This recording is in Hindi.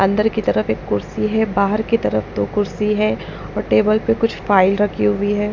अंदर की तरफ एक कुर्सी है बाहर की तरफ दो कुर्सी है और टेबल पर कुछ फाइल रखी हुई है।